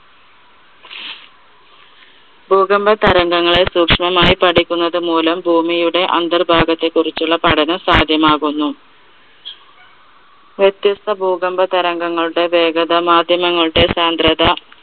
ഭൂകമ്പ തരംഗങ്ങളെ സൂക്ഷ്മമായി പഠിക്കുന്നത് മൂലം ഭൂമിയുടെ അന്തർഭാഗത്തെ കുറിച്ചുള്ള പഠനം സാധ്യമാകുന്നു. വ്യത്യസ്ഥ ഭൂകമ്പ തരംഗങ്ങളുടെ വേഗത മാധ്യമങ്ങളുടെ സാന്ദ്രത